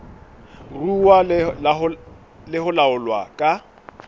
ruuwa le ho laolwa ka